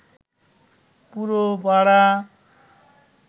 পুরো পাড়া